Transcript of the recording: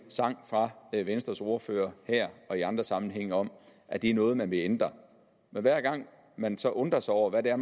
sang fra venstres ordfører her og i andre sammenhænge om at det er noget de vil ændre men hver gang man så undrer sig over hvad det er